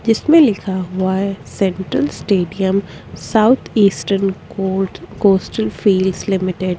जिसमे लिखा हुआ है central stadium south eastern court coastal fields limited --